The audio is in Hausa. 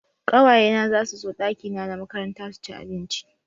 Kawaye na zasu zo dakina na makaranta su ci abinci.